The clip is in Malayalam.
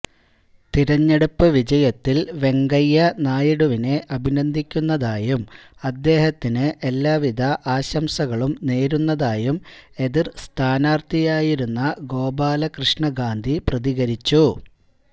തെരഞ്ഞെടുപ്പ് വിജയത്തില് വെങ്കയ്യ നായിഡുവിനെ അഭിനന്ദിക്കുന്നതായും അദ്ദേഹത്തിന് എല്ലാ വിധ ആശംസകളും നേരുന്നതായും എതിര് സഥാനാര്ഥിയായിരുന്ന ഗോപാലകൃഷ്ണ ഗാന്ധി പ്രതികരിച്ചു